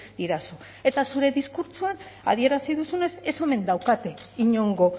didazu eta zure diskurtsoan adierazi duzunez ez omen daukate inongo